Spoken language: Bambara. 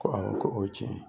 Ko awɔ, ko o ye tiɲɛ ye.